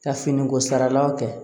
Ka finiko saralaw kɛ